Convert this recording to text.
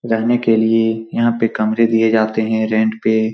रहने के लिए यहाँ पे कमरे दिए जाते हैं रेंट पे।